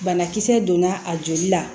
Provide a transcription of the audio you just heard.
Banakisɛ donna a joli la